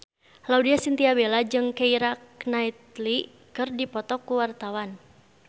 Laudya Chintya Bella jeung Keira Knightley keur dipoto ku wartawan